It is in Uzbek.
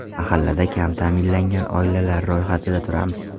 Mahallada kam ta’minlangan oilalar ro‘yxatida turamiz.